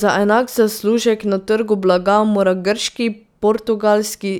Za enak zaslužek na trgu blaga mora grški, portugalski,